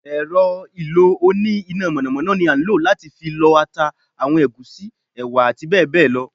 èrò ìlò oní iná mọnamọna ní a ń lo latí fí lọ ata, awọn egúsí, ewa ati bẹbẹ lọ